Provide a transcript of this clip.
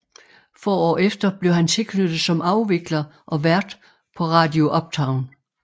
Få år efter blev han tilknyttet som afvikler og vært på Radio Uptown